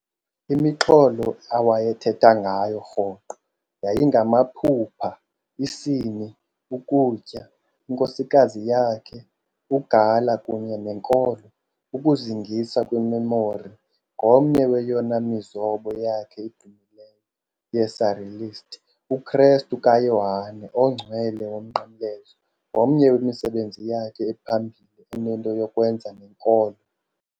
Imixholo awayethetha ngayo rhoqo yayingamaphupha, isini, ukutya, inkosikazi yakhe uGala kunye nenkolo. Ukuzingisa kweMemori ngomnye weyona mizobo yakhe idumileyo ye-surrealist, uKrestu kaYohane oNgcwele woMnqamlezo ngomnye wemisebenzi yakhe ephambili enento yokwenza nenkolo.